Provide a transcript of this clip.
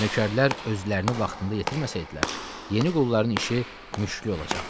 Nökərlər özlərini vaxtında yetirməsəydilər, yeni qulların işi müşklü olacaqdı.